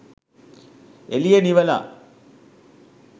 එළිය නිවලා